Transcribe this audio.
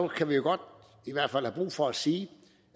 kan vi godt have brug for at sige